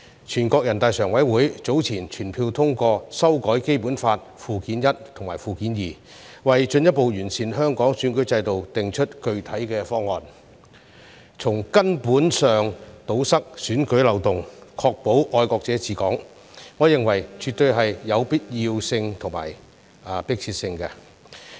全國人民代表大會常務委員會早前全票通過修改《基本法》附件一及附件二，為進一步完善香港選舉制度訂定具體方案，從根本上堵塞選舉漏洞，確保"愛國者治港"，我認為絕對有必要性和迫切性。